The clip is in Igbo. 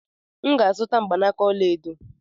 M ga-azụta mgbanaka ọla edo.